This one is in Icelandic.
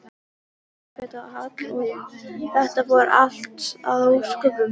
Elísabet Hall: Og þetta fór allt að óskum?